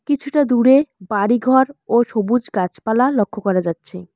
কিছুটা দূরে বাড়িঘর ও সবুজ গাছপালা লক্ষ্য করা যাচ্ছে।